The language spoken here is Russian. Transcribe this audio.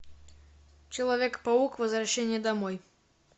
человек паук возвращение домой